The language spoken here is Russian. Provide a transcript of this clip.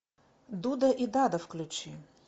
дуда и дада включи